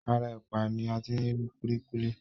Ara ẹ̀pà ni ati rí kúlíkúlí.